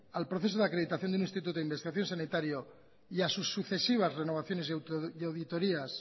al proceso de acreditación de un instituto de investigación sanitario y a sus sucesivas renovaciones y auditorias